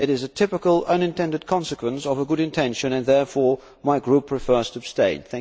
It is a typical unintended consequence of a good intention and therefore my group prefers to abstain.